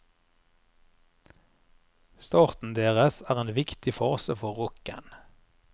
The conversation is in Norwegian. Starten deres er en viktig fase for rocken.